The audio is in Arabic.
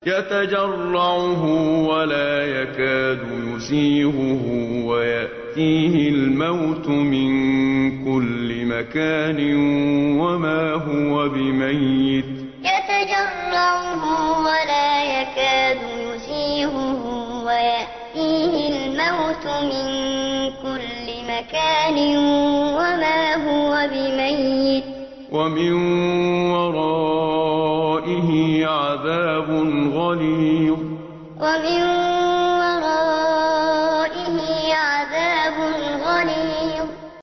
يَتَجَرَّعُهُ وَلَا يَكَادُ يُسِيغُهُ وَيَأْتِيهِ الْمَوْتُ مِن كُلِّ مَكَانٍ وَمَا هُوَ بِمَيِّتٍ ۖ وَمِن وَرَائِهِ عَذَابٌ غَلِيظٌ يَتَجَرَّعُهُ وَلَا يَكَادُ يُسِيغُهُ وَيَأْتِيهِ الْمَوْتُ مِن كُلِّ مَكَانٍ وَمَا هُوَ بِمَيِّتٍ ۖ وَمِن وَرَائِهِ عَذَابٌ غَلِيظٌ